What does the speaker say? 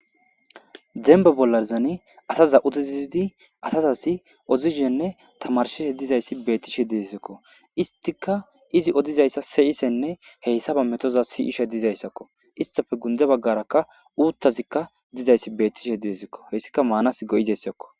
Dembba bollazani astha uthisizzidi asazassi ozishenne thamaarissishe dizayssi beeththishe deesikko; isththikka izi odizaysa se7isenne he isa ithaba methozayssi dizayssakko; isththappe gundda baggaarakka uuththazikka dizaysi beeththithee beethhesikkko;heyssikka maanaassi go7izeyssakko.